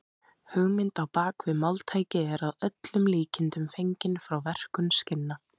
Hugmyndin á bak við máltækið er að öllum líkindum fengin frá verkun skinna.